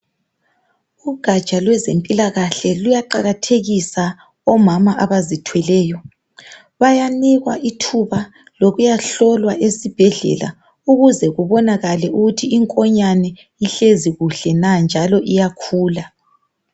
Ugatsha lwezempilakahle luyaqakathekisa omama abazithweleyo bayanikwa ithuba lokuyahlolwa ezibhedlela ukuze kubonakale ukuthi inkonyane ihlezi kuhle na njalo iyakhula .